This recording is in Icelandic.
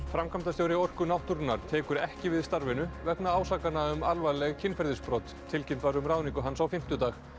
framkvæmdastjóri Orku náttúrunnar tekur ekki við starfinu vegna ásakana um alvarleg kynferðisbrot tilkynnt var um ráðningu hans á fimmtudag